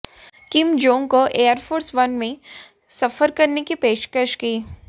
किम Jong को Air Force one में सफर करने की पेशकश की